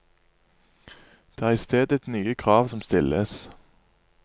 Det er i stedet nye krav som stilles.